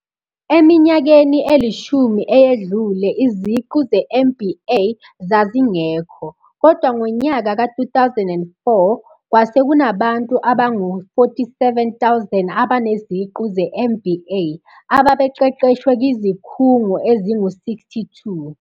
Eminyakeni elishumi eyedlule, iziqu ze-MBA zazingekho, kodwa ngonyaka ka 2004, kwase kunabantu abangu 47 000 abaneziqu ze-MBA, ababeqeqeshwe kwizikhungo ezingu 62.